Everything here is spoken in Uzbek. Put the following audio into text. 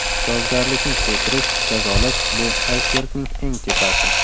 Javobgarlikni kuchaytirish, jazolash – bu aysbergning eng tepasi.